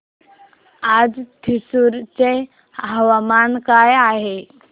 आज थ्रिसुर चे हवामान काय आहे